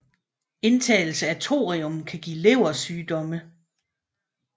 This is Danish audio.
Indtagelse af thorium kan give leversygdomme